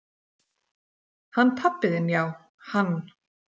"""Hann pabbi þinn já, hann."""